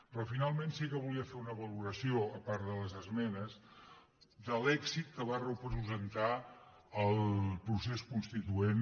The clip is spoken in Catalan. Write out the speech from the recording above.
però finalment sí que volia fer una valoració a part de les esmenes de l’èxit que va representar el pro·cés constituent